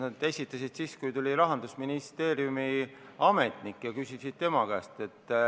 Sa esitasid selle siis, kui tuli Rahandusministeeriumi ametnik, ja küsisid tema käest.